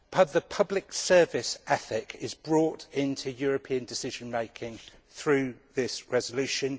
The public service ethic is brought into European decision making through this resolution.